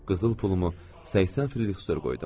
Qızıl pulumu 80 Fridrix störm qoydum.